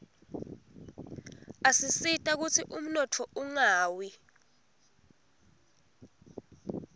asisita kutsi umnotfo ungawi